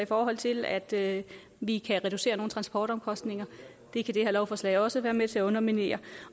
forhold til at vi kan reducere nogle transportomkostninger det kan det her lovforslag også være med til at underminere